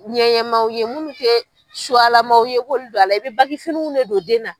Ŋɛɲɛmaw ye, minnu tɛ suyalamaw ye, i b'olu don a la, i bɛ bakifiniw don den na.